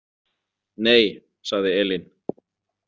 Nei, sagði Elín.